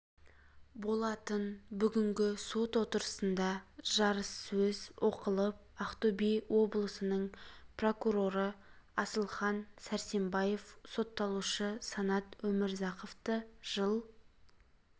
болатын бүгінгі сот отырысында жарыссөз оқылып ақтөбе облысының прокуроры асылхан сәрсенбаев сотталушы санат өмірзақовты жыл